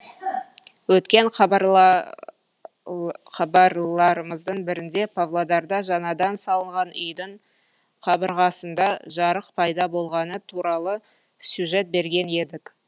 өткен хабарларымыздың бірінде павлодарда жаңадан салынған үйдің қабырғасында жарық пайда болғаны туралы сюжет берген едік